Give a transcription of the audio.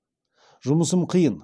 жұмысым қиын